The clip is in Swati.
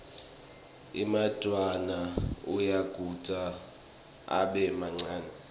emadvwala ayagedvuka abe mancane